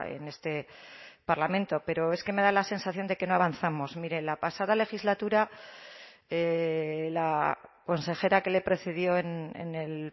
en este parlamento pero es que me da la sensación de que no avanzamos mire la pasada legislatura la consejera que le precedió en el